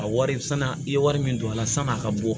A wari sann'a ye wari min don a la san'a ka bɔ